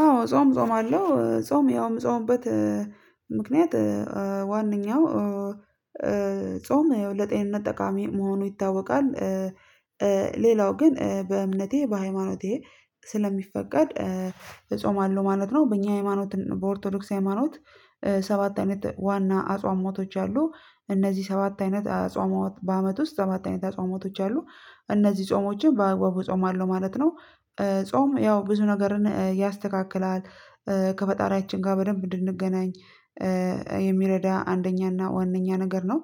አዎ ጾም እጾማአለው እ ጾም ያው የምጾምበት እ ምክንያት እ አ ዋነኛው ኡ እ ጾም ያው ለጤንነት ጠቃሚ መሆኑ ይታወቃል። እ ሌላው ግን እ በእምነቴ በሃይማኖቴ ስለሚፈቀድ እጾማለሁ ማለት ነው። በእኛ ሃይማኖት በኦርቶዶክስ ሃይማኖት እ ሰባት አይነት ዋና አጽዋሟቶች አሉ። እነዚህ ሰባት አይነት አጽሟዋት በአመት ውስጥ ሰባት አይነት ጾሞች አሉ። እነዚህ ጾሞችን በአግባቡ እጾማለሁ ማለት ነው። እ ጾም ያው ብዙ ነገርን እ ያስተካክላል እ ከፈጣሪያችን ጋ በደንብ እንድንገናኝ እ እ የሚረዳ አንደኛ ና ዋናኛ ነው።